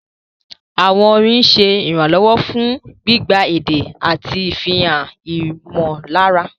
Àwọn orin ń ṣe ìrànlọ́wọ́ fún gbígba èdè àti ìfihàn ìmọ̀lára.